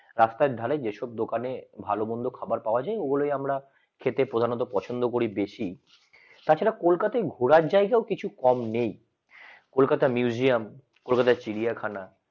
রাস্তার ধারে যেসব দোকানে ভালো মন্দ খাবার পাওয়া যায় খেতে আমরা প্রধানত পছন্দ করি। বেশি তাছাড়া কলকাতা ঘোরার জায়গাও কিছু কম নেই কলকাতা Museum কলকাতা চিড়িয়াখানা